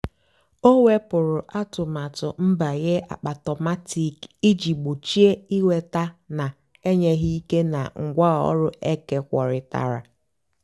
ọ́ wèpụ́rụ́ àtụ́matụ́ nbànyé àkpáàtómatị́k ìjì gbòchíé ị́nwètá nà-ènyéghị́ íkè nà ngwáọ̀rụ́ ékékwóritárá.